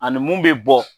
Ani mun bɛ bɔ